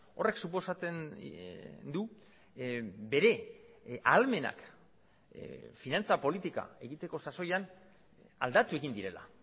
horrek suposatzen du bere ahalmenak finantza politika egiteko sasoian aldatu egin direla